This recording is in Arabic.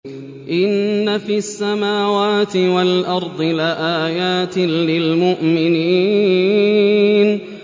إِنَّ فِي السَّمَاوَاتِ وَالْأَرْضِ لَآيَاتٍ لِّلْمُؤْمِنِينَ